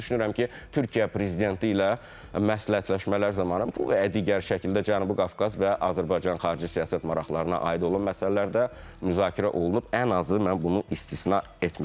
Və mən düşünürəm ki, Türkiyə prezidenti ilə məsləhətləşmələr zamanı bu və ya digər şəkildə Cənubi Qafqaz və Azərbaycanın xarici siyasət maraqlarına aid olan məsələrdə müzakirə olunub, ən azı mən bunu istisna etmirəm.